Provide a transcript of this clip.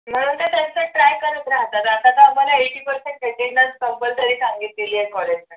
म्हणून त्या त्यांचा try करत राहतात आता तर आम्हाला eighty percent attendance compulsory सांगितलेली आहे college ला